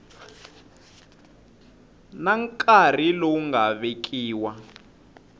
na nkarhi lowu nga vekiwa